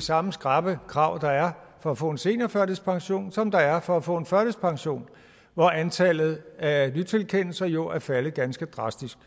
samme skrappe krav der er for at få en seniorførtidspension som der er for at få en førtidspension hvor antallet af nytilkendelser jo er faldet ganske drastisk